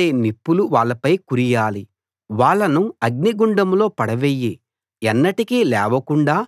కణకణలాడే నిప్పులు వాళ్ళపై కురియాలి వాళ్ళను అగ్నిగుండంలో పడవెయ్యి ఎన్నటికీ లేవకుండా